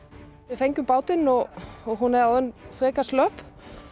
við fengum bátinn og hún er orðin frekar slöpp